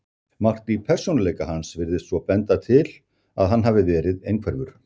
Margt í persónuleika hans virðist svo benda til að hann hafi verið einhverfur.